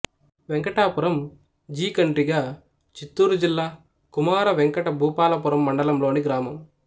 Venkatapuram G Kandriga Chittoor జిల్లా కుమార వెంకట భూపాలపురం మండలంలోని గ్రామం